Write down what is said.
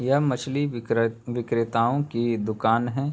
यह मछली विक्रे विक्रेताओं की दुकान है।